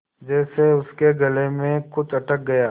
जैसे उसके गले में कुछ अटक गया